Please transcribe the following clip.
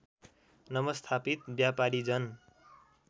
नवस्थापित व्यापारी जन